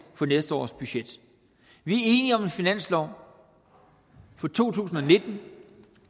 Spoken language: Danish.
for næste års budget vi er enige om en finanslov for to tusind og nitten